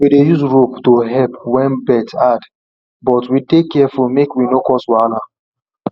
we dey use rope to help when birth hard but we dey careful make we no cause wahala